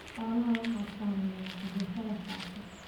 Xoolaha waxaa saameeya cudurrada faafa.